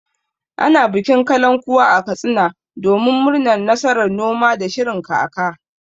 Ana bikin kalankuwa a Katsina domin murnar nasarar noma da shirin kaka.